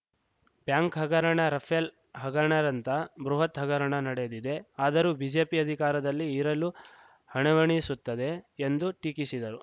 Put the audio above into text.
bank ಹಗರಣ Rafale ಹಗರಣದಂಥ ಬೃಹತ್‌ ಹಗರಣ ನಡೆದಿದೆ ಆದರೂ ಬಿಜೆಪಿ ಅಧಿಕಾರದಲ್ಲಿ ಇರಲು ಹಣವಣಿಸುತ್ತದೆ ಎಂದು ಟೀಕಿಸಿದರು